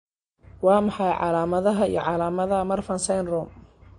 Waa maxay calaamadaha iyo calaamadaha Marfan syndrome?